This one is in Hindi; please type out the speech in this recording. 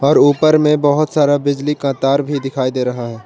और ऊपर में बहोत सारा बिजली का तार भी दिखाई दे रहा है।